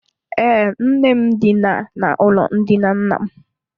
Ee, nne m dina n’ụlọ ndina nna m.